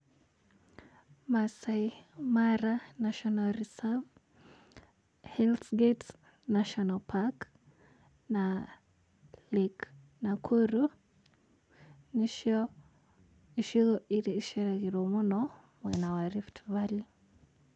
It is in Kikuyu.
Maasai Mara national reserve, Hellsgate national park na Lake Nakuru nĩcio icigo iria iceragĩrwo mũno mwena wa Rift Valley.